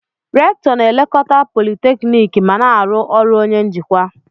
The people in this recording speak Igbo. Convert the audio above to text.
Recktọ na-elekọta politekniiki ma na-arụ ọrụ onye njikwa.